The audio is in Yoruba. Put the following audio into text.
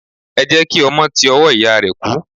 Ẹ jẹ́ kí ọmọ ti ọwọ́ ìyá rẹ̀ kú.